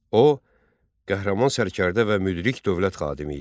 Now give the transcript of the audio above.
O qəhrəman sərkərdə və müdrik dövlət xadimi idi.